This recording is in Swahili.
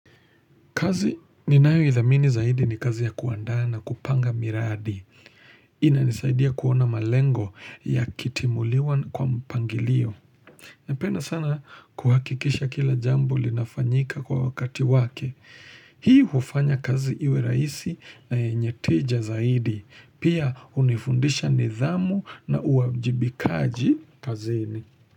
Kazi ninayo idhamini zaidi ni kazi ya kuanda na kupanga miradi. Inanizaidia kuona malengo ya kitimuliwa kwa mpangilio. Napenda sana kuhakikisha kila jambo linafanyika kwa wakati wake. Hii ufanya kazi iwe raisi na yenye teja zaidi. Pia unifundisha nidhamu na uajibikaji kazini.